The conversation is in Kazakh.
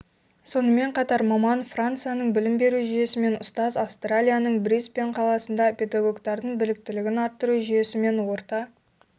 сонымен қатар маман францияның білім беру жүйесімен ұстаз австралияның брисбен қаласында педагогтардың біліктілігін арттыру жүйесімен орта